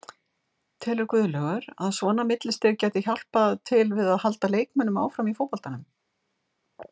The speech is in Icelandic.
Telur Guðlaugur að svona millistig gæti hjálpað til við að halda leikmönnum áfram í fótboltanum?